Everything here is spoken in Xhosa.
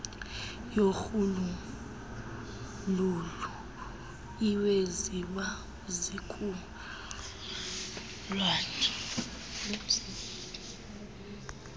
yorhuululu iweziya zizukulwana